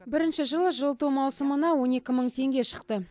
бірінші жылы жылыту маусымына он екі мың теңге шықты